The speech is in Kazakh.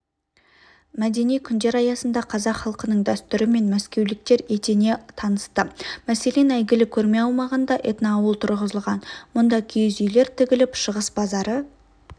мәдени күндер аясында қазақ халқының дәстүрімен мәскеуліктер етене танысты мәселен әйгілі көрме аумағында этноауыл тұрғызылған мұнда киіз үйлер тігіліп шығыс базары